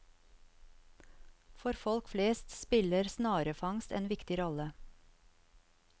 For folk flest spiller snarefangst en viktig rolle.